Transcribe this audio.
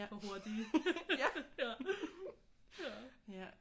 For hurtige ja